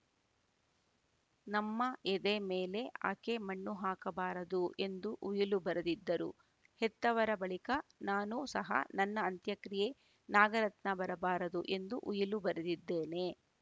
ನಮ್ಮ ಎದೆ ಮೇಲೆ ಆಕೆ ಮಣ್ಣು ಹಾಕಬಾರದು ಎಂದು ಉಯಿಲು ಬರೆದಿದ್ದರು ಹೆತ್ತವರ ಬಳಿಕ ನಾನು ಸಹ ನನ್ನ ಅಂತ್ಯಕ್ರಿಯೆ ನಾಗರತ್ನ ಬರಬಾರದು ಎಂದು ಉಯಿಲು ಬರೆದಿದ್ದೇನೆ